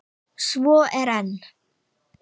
Svo er enn!